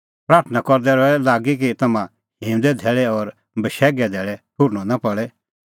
प्राथणां करदै रहै लागी कि तम्हां हिंऊंदे धैल़ै और बशैघे धैल़ै ठुहर्नअ नां पल़े